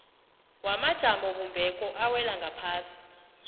wamajamobumbeko awela ngaphasi